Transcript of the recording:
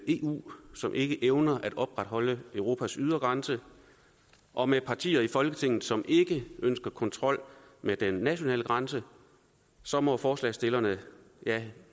eu som ikke evner at opretholde europas ydre grænse og med partier i folketinget som ikke ønsker kontrol med den nationale grænse så må forslagsstillerne ja